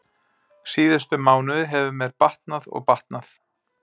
Síðustu mánuði hefur mér batnað og batnað.